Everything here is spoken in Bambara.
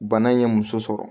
Bana in ye muso sɔrɔ